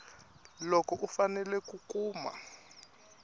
loko u fanele ku kuma